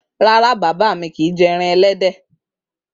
Rara, baba mi kii jẹ ẹran ẹlẹdẹ.